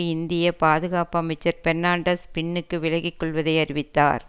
இந்திய பாதுகாப்பு அமைச்சர் பெர்னாண்டஸ் பின்னுக்கு விலக்கி கொள்வதை அறிவித்தார்